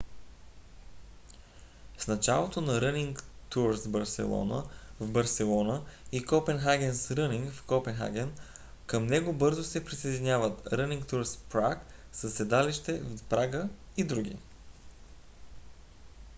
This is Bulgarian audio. с начало от running tours barcelona в барселона и copenhagen's running в копенхаген към него бързо се присъединяват running tours prague със седалище в прага и други